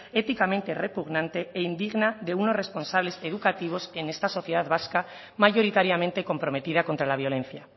éticamente repugnante e indigna de unos responsable educativos en esta sociedad vasca mayoritariamente comprometida contra la violencia